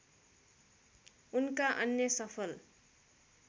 उनका अन्य सफल